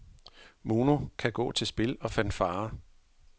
Mono kan gå til spil og fanfarer.